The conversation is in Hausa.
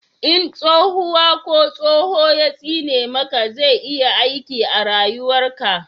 in tsohuwa ko tsoho ya tsine maka zai iya aiki a rayuwar ka